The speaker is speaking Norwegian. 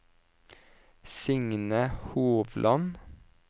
Signe Hovland